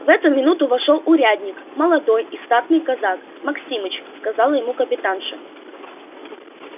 в эту минуту вошёл урядник молодой и статный казак максимыч сказала ему капитанша